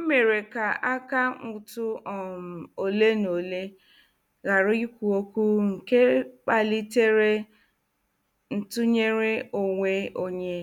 M mere ka akaụntụ um ole na ole ghara ikwu okwu nke kpalitere ntụnyere onwe onye